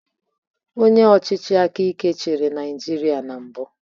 Onye ọchịchị aka ike chịrị Naijiria na mbụ.